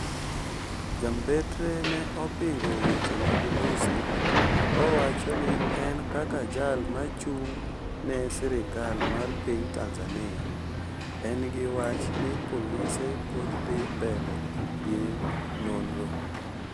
ja mbetre ne opingo weche mag Lussi kowacho ni en kaka jal machung ne sirikal mar piny Tanzania, en gi wach ni polise pod dhi mbele gi nonro